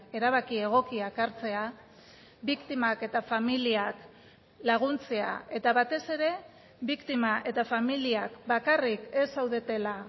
erabaki egokiak hartzea biktimak eta familiak laguntzea eta batez ere biktima eta familiak bakarrik ez zaudetela